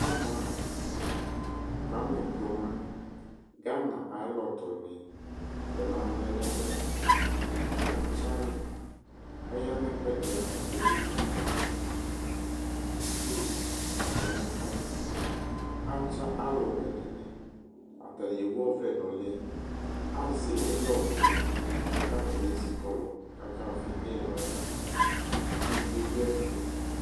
ama kwami n'kruma, ghana ayu alɔtɔnɩ tɔnalɔ yɛ nu ɛmɛ la, atsayɩ ɔya nu ɛkuɛdɩ ava kemu nu aɣla n'ava, itsu kɔ nu ɛfuɛ, atsa aluwɛ dɩnɩ, atanɩ ewu ɔvlɛ nu'lɩ, azɛ ilɔ nulɩ, ku atanɩ ezikɔlu ku akavi ilɔyɛ ivi du ɛfɛ